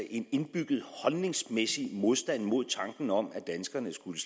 en indbygget holdningsmæssig modstand mod tanken om at danskerne skulle